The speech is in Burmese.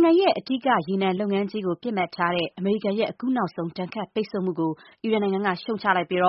င်ငံရဲ့ ရေနံလုပ်ငန်းကို အဓိက ပစ်မှတ်ထားတဲ့ အမေရိကန်ရဲ့ အခုနောက်ဆုံး ဒဏ်ခတ်ပိတ်ဆို့မှုကို အီရန်နိုင်ငံက ရှုတ်ချလိုက်ပြီး